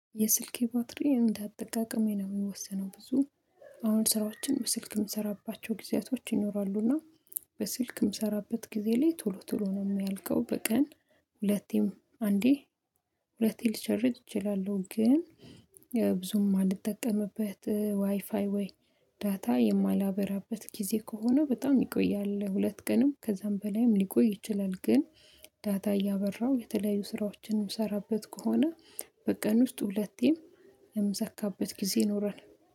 የስልኬ ባትሪ እንደ አጠቃቀሜ ነው የሚወሰነው። ብዙ አሁን ስራዎችን በስልክ የምሰራባቸው ጊዜያቶች ይኖራሉና በስልክ የምሰራበት ጊዜ ላይ ቶሎ ቶሎ ነው የሚያልቀው። በቀን ሁለቴም አንዴ ሁለቴ ልቸርጅ እችላለሁ። ግን ብዙም አልጠቀምበት ዋይፋይ ወይ ዳታ የማላበራበት ጊዜ ከሆነ በጣም ይቆያል ሁለት ቀንም ከዛም በላይም ሊቆይ ይችላል። ግን ዳታ እያበራሁ የተለያዩ ስራዎችንም የምሰራበት ከሆነ በቀን ውስጥ ሁለቴም የምሰካበት ጊዜ ይኖራል